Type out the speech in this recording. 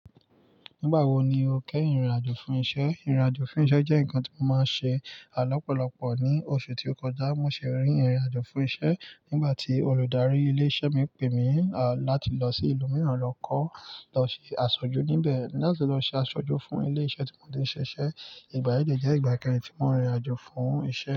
Nígbà wo ni o kẹ́yìn rìnrìn-àjò fún iṣẹ́? Ìrìn-àjò fún iṣẹ́ jẹ́ nǹkan tí mo máa ń ṣe lọ́pọ̀lọpọ̀. Ní oṣù tí ó kọjá, mo ṣì rin ìrìn-àjò fún iṣẹ́ nígbà tí olùdarí ilé-iṣẹ́ mi pè mí láti lọ sí ìlú mìíràn lọ kọ́, lọ ṣe àṣojú níbẹ̀. Láti lọ ṣe àṣojú fún ilé-iṣẹ́ tí mo ti ń ṣiṣẹ́. Ìgbà yẹn dẹ̀ jẹ́ ìgbà kẹrin tí mo rìnrìn-àjò fún iṣẹ́.